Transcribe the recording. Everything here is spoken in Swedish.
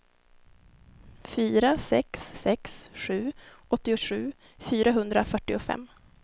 fyra sex sex sju åttiosju fyrahundrafyrtiofem